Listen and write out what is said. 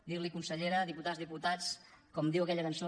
dir los consellera diputades diputats com diu aquella cançó